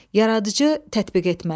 Yaradıcı tətbiq etmə.